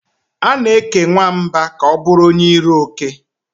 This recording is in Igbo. A na-eke nwamba ka ọ bụrụ onye iro oke.